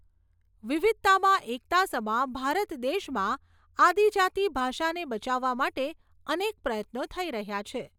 વિવિધતામાં એકતા સમા ભારત દેશમાં આદિજાતી ભાષાને બચાવવા માટે અનેક પ્રયત્નો થઈ રહ્યા છે.